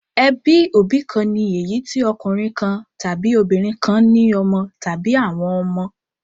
Ẹbí òbí kan ni èyí tí ọkùnrin kan tàbí obìnrin kan ní ọmọ tàbí àwọn ọmọ.